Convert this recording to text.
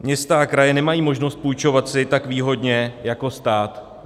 Města a kraje nemají možnost půjčovat si tak výhodně jako stát.